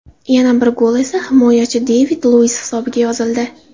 Yana bir gol esa himoyachi David Luis hisobiga yozildi.